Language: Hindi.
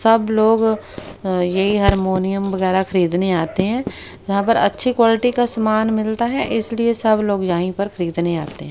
सब लोग अ ये हारमोनियम वगैरह खरीदने आते हैं जहां पर अच्छी क्वालिटी का समान मिलता है इसलिए सब लोग यही पर खरीदने आते हैं।